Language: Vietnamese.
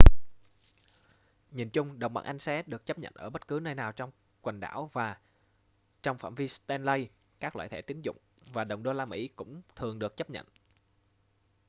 nhìn chung đồng bảng anh sẽ được chấp nhận ở bất cứ nơi nào trong quần đảo và trong phạm vi stanley các loại thẻ tín dụng và đồng đô-la mỹ cũng thường được chấp nhận